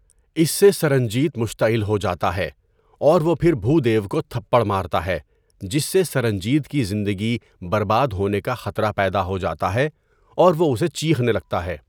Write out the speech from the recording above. اس سے سرنجیت مشتعل ہو جاتا ہے اور وہ پھر بھودیو کو تھپڑ مارتا ہے جس سے سرنجیت کی زندگی برباد ہونے کا خطرہ پیدا ہو جاتا ہے اور وہ اسے چیخنے لگتا ہے۔